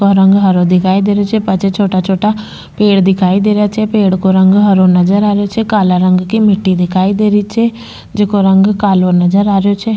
बो रंग हरो दिखाई दे रहियो छे पाछे छोटा छोटा पेड़ दिखाई दे रहिया छे पेड़ को रंग हरो नजर आ रहियो छे काला रंग की मिट्टी दिखाई दे रही छे जको रंग कालो नजर आ रहियो छे।